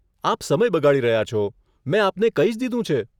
આપ સમય બગાડી રહ્યા છો, મેં આપને કહી જ દીધું છે.